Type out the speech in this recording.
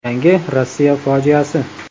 Yangi Rossiya fojiasi.